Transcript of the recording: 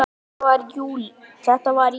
Þetta var í júlí.